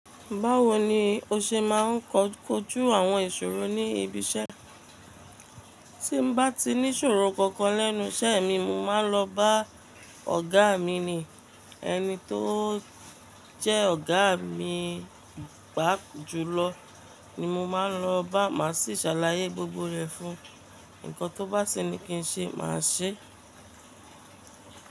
Báwo ni o ṣe máa ń kojú àwọn ìṣòro níbi iṣẹ́. Tí bá ti ní ìṣòro kankan lẹ́nu iṣẹ́ mi, mo máa ń lọ bá ọ̀gá mi ni, ẹni tó jẹ́ ọ̀gá mi gbá jú lọ ni mo máa ń lọ bá, màá sì ṣàlàyé gbogbo rẹ̀ fún un. Ǹkan tó bá sini kí n ṣe, màá ṣe é.